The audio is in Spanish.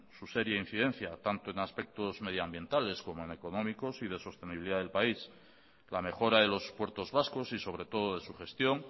su seria incidencia tanto en aspectos medio ambientales como en económico y de sostenibilidad del país la mejora de los puertos vascos y sobre todo de su gestión